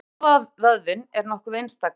Hjartavöðvinn er nokkuð einstakur.